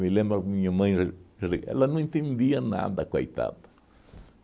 Me lembro a minha mãe, ele ela não entendia nada, coitada.